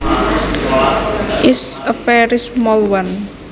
is a very small one